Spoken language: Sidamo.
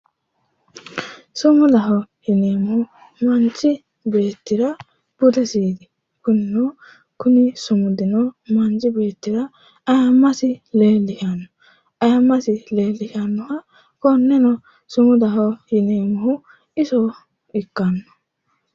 Sumudaho yineemmohu manchi beettira budesiiti kunino, kuni sumudino manchi beettira aayiimmasi leellishannoha konneno sumudaho yineemmohu iso ikkanno.